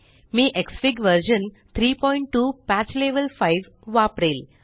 me xfig version 32 patch level 5वापरेल